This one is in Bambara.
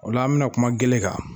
O la, an bɛna kuma gɛlɛn kan.